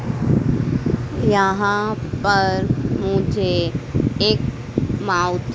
यहां पर मुझे एक मा--